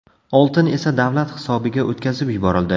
Oltin esa davlat hisobiga o‘tkazib yuborildi.